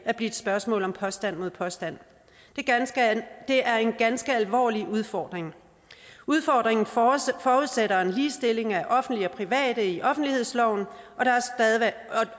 bliver et spørgsmål om påstand mod påstand det er en ganske alvorlig udfordring udfordringen forudsætter forudsætter en ligestilling af offentlige og private leverandører i offentlighedsloven